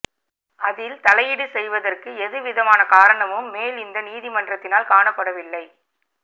அதில் தலையீடு செய்வதற்கு எதுவிதமான காரணமும் மேல் இந்த நீதிமன்றத்தினால் காணப்படவில்லை